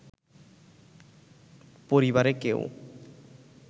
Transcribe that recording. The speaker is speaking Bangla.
পরিবারে কেউ